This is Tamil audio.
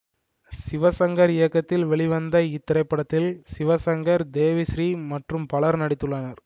சிவசங்கர் இயக்கத்தில் வெளிவந்த இத்திரைப்படத்தில் சிவசங்கர் தேவிஸ்ரீ மற்றும் பலரும் நடித்துள்ளனர்